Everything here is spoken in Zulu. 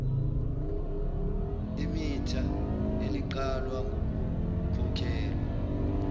imitha eliqalwa ngokukhokhelwa